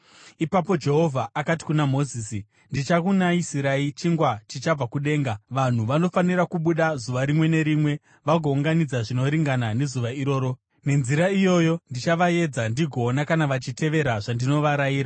Ipapo Jehovha akati kuna Mozisi, “Ndichakunayisirai chingwa chichabva kudenga. Vanhu vanofanira kubuda zuva rimwe nerimwe vagounganidza zvinoringana nezuva iroro. Nenzira iyoyi ndichavaedza ndigoona kana vachitevera zvandinovarayira.